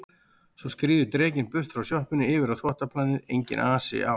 Svo skríður drekinn burt frá sjoppunni yfir á þvottaplanið, enginn asi á